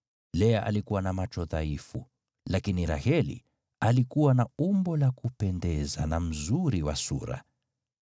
Lea alikuwa na macho dhaifu, lakini Raheli alikuwa na umbo la kupendeza na mzuri wa sura.